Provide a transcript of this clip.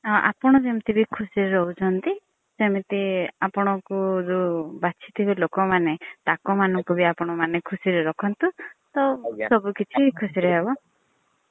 ଆପଣ ଯେମିତି ଖୁସି ରେ ରହୁଛନ୍ତି ସେମିତି ଯୋଉ ଆପଣ ଙ୍କୁ ବାଛି ଥିବେ ଲୋକ ମାନ ତାଙ୍କ ମାନଙ୍କୁବି ଆପଣ ମାନେ ଖୁସିରେ ରଖନ୍ତୁ ତ ସବୁ କିଛି ଖୁସିରେ ହବ।